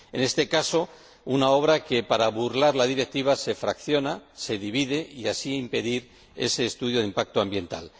En este caso, una obra que, para burlar la Directiva, se fracciona, se divide, con lo que se impide ese estudio de impacto ambiental.